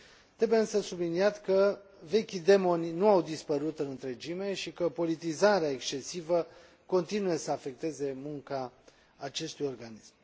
Trebuie însă subliniat că vechii demoni nu au dispărut în întregime și că politizarea excesivă continuă să afecteze munca acestui organism.